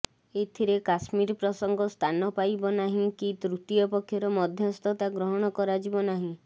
ଏଥିରେ କାଶ୍ମୀର ପ୍ରସଙ୍ଗ ସ୍ଥାନ ପାଇବ ନାହିଁ କି ତୃତୀୟ ପକ୍ଷର ମଧ୍ୟସ୍ଥତା ଗ୍ରହଣ କରାଯିବନାହିଁ